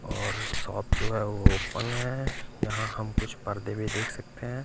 और शॉप जो है वो ओपन है यहाँ हम कुछ पर्दे भी देख सकते हैं।